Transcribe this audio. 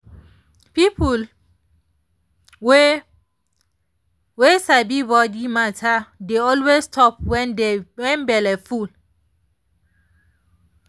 people wey wey sabi body matter dey always stop when belle full.